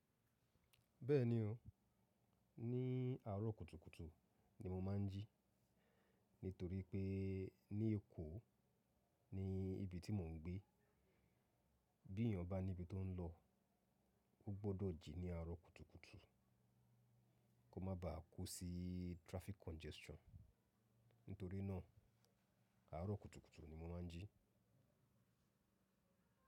Bẹ́ẹ̀ni o, ní àárọ̀ kùtùkùtù ni mo máa ń jí. Nítorí pé ní Èkó ni ibi tí mò ń gbé, bí èèyàn bá níbi tó ń lọ, ó gbọ́dọ̀ jí ní àárọ̀ kùtùkùtù kó má ba à kú sí traffic congestion. Nítorí náà àárọ̀ kùtùkùtù ni mo máa ń jí.